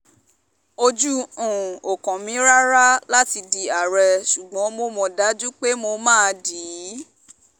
ojú um ò kàn mí rárá um láti di àárẹ̀ ṣùgbọ́n mo mọ̀ dájú pé mà á dì í